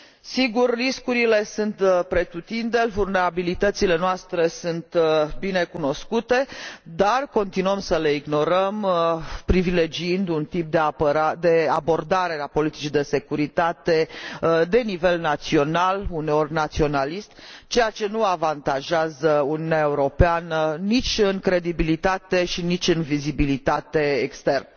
Sigur, riscurile sunt pretutindeni, vulnerabilitățile noastre sunt binecunoscute, dar continuăm să le ignorăm, privilegiind un tip de abordare a politicii de securitate de nivel național, uneori naționalist, ceea ce nu avantajează Uniunea Europeană nici în credibilitate, și nici în vizibilitate externă.